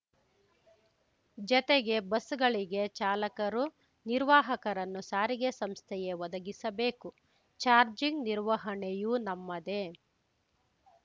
ಜತೆಗೆ ಬಸ್‌ಗಳಿಗೆ ಚಾಲಕರು ನಿರ್ವಾಹಕರನ್ನು ಸಾರಿಗೆ ಸಂಸ್ಥೆಯೇ ಒದಗಿಸಬೇಕು ಚಾರ್ಜಿಂಗ್ ನಿರ್ವಹಣೆಯೂ ನಮ್ಮದೆ